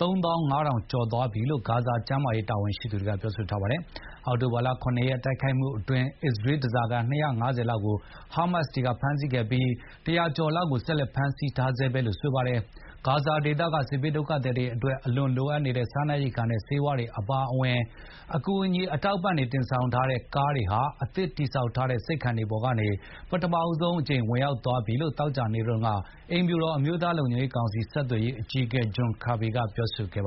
၃၅,၀၀၀ ကျော် သွားပြီလို့ ဂါဇာကျန်းမာရေးဌာန တာဝန်ရှိသူတွေက ပြောဆိုထားပါတယ်။ အောက်တိုဘာ ၇ ရက် တိုက်ခိုက်မှုအတွင်း အစ္စရေးဓါးစာခံ ၂၅၀ လောက်ကို ဟားမတ်စ်တွေက ဖမ်းဆီးခဲ့ပြီး၊ ၁၀၀ ကျော်လောက်ကို ဆက်လက် ဖမ်းဆီးထားဆဲလို့ ဆိုပါတယ်။ ဂါဇာဒေသက စစ်ဘေးဒုက္ခသည်တွေအတွက် အလွန်လိုအပ်နေတဲ့ စားနပ်ရိက္ခာနဲ့ ဆေးဝါးတွေအပါအဝင် အကူအညီ အထောက်ပံ့တွေ တင်ဆောင်ထားတဲ့ ကားတွေဟာ အသစ်တည်ဆောက်ထားတဲ့ ဆိပ်ခံတွေပေါ်ကနေ ပထမဆုံး အကြိမ် ဝင်ရောက်သွားပြီလို့ သောကြာနေ့တုန်းက အိမ်ဖြူတော်အမျိုးသားလုံခြုံရေးကောင်စီ ဆက်သွယ်ရေးအကြီး အကဲ ဂျွန်ကာဘီ John Kirby ကပြောဆိုပါတယ်